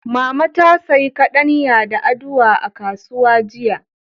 Mama ta sayi kaɗanya da aduwa a kasuwa jiya.